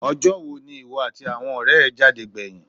Ọjọ́ wo ni ìwọ àti àwọn ọ̀rẹ́ ẹ jáde gbẹ̀yìn?